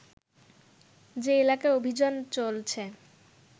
যে এলাকায় অভিযান চলছে